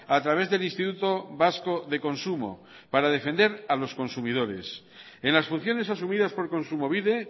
a través del instituto vasco de consumo para defender a los consumidores en las funciones asumidas por kontsumobide